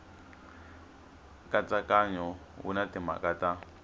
nkatsakanyo wu na timhaka ta